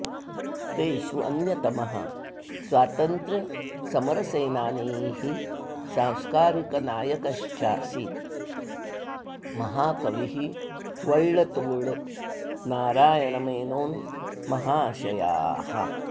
तेषु अन्यतमः स्वातन्त्र्यसमरसेनानीः सांस्कारिकनायकश्चासीत् महाकविः वळ्ळत्तोळ् नारायणमेनोन् महाशयाः